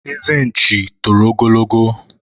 eze nchi toro ogologo